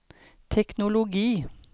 teknologi